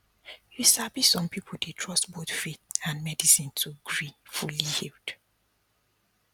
you sabi some people dey trust both faith and medicine to gree fully healed